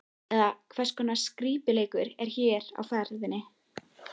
Eða hvers konar skrípaleikur er hér á ferðinni?